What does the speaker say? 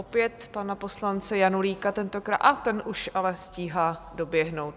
Opět pana poslance Janulíka tentokrát... a ten už ale stíhá doběhnout.